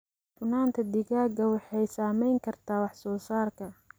Cufnaanta digaaga waxay saameyn kartaa wax soo saarka.